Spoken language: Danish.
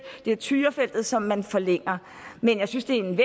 det er tyrafeltet som man forlænger men jeg synes det er en